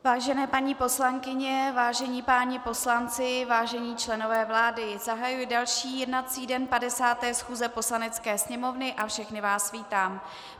Vážené paní poslankyně, vážení páni poslanci, vážení členové vlády, zahajuji další jednací den 50. schůze Poslanecké sněmovny a všechny vás vítám.